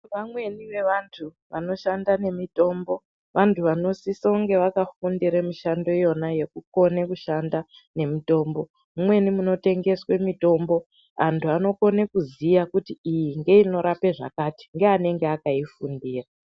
Vamweni vevantu vanoshanda nemitombo vanosisa kunge vakafundira mishando iyona yekukona kushanda nemitombo mumwnei munotengeswa mutombo antu anokona kuziya kuti iyi inorapa zvakati ndeye anenge akaifundira.